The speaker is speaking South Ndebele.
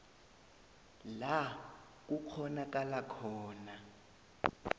la kukghonakala khona